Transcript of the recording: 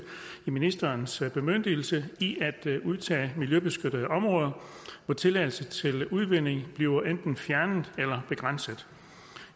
i ministerens bemyndigelse i at udtage miljøbeskyttede områder hvor tilladelse til udvinding bliver enten fjernet eller begrænset